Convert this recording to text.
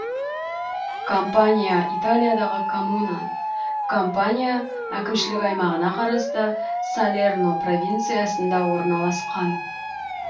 кампанья италиядағы коммуна кампания кампания әкімшілік аймағына қарасты салерно провинциясында орналасқан